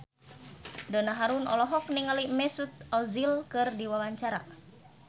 Donna Harun olohok ningali Mesut Ozil keur diwawancara